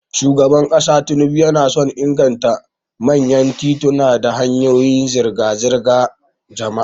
Shugaban kasa Tinubu yana son inganta manyan tituna da hanyoyin zirga-zirgar jama'a.